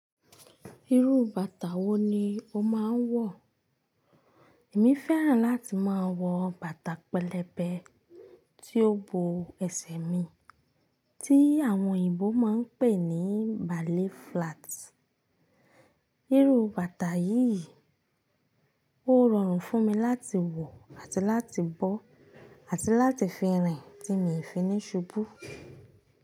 Irú bàtà wo ni o máa ń wọ̀? Èmi fẹ́ràn láti máa wọ bàtà pẹlẹbẹ tí ó bo ẹsẹ̀ mi, tí àwọn òyìnbó máa ń pè ní ballet flats. Irú bàtà yìí ó rọrùn fún mi láti wọ̀ àti láti bọ́ àti láti fi rìn tí mi ò fi ní ṣubú.